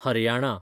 Haryana